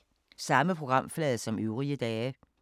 Samme programflade som øvrige dage